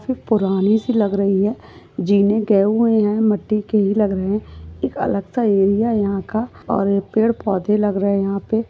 पुरानी सी लग रही है। जीने गए हुए है। मट्टी के ही लग रहे है। एक अलग सा एरिया यहा का और एक पेड़ पौधे लग रहे है यहा पे।